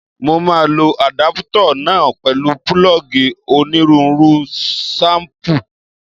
Mo máa lo àdápútà náà pẹ̀lú púlọ́ọ̀gì onírúurú ṣéìpù